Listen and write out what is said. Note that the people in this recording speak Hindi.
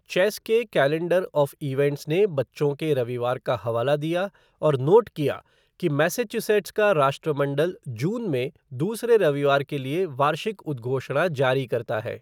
चेस के कैलेंडर ऑफ़ इवेंट्स ने बच्चों के रविवार का हवाला दिया और नोट किया कि मैसाचुसेट्स का राष्ट्रमंडल जून में दूसरे रविवार के लिए वार्षिक उद्घोषणा जारी करता है।